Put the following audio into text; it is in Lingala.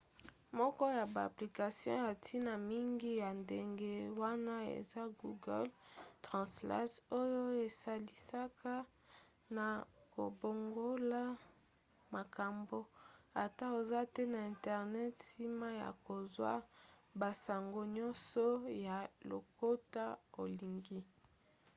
moko ya ba application ya ntina mingi ya ndenge wana eza google translate oyo esalisaka na kobongola makambo ata oza te na internet nsima ya kozwa basango nyonso ya lokota olingi